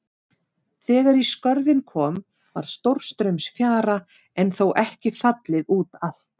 Þegar í Skörðin kom var stórstraumsfjara en þó ekki fallið út allt.